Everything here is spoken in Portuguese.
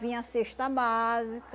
Vinha a cesta básica.